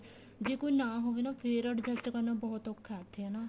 ਜੇ ਕੋਈ ਨਾ ਹੋਵੇ ਨਾ ਫੇਰ adjust ਕਰਨਾ ਬਹੁਤ ਔਖਾ ਉੱਥੇ ਹਨਾ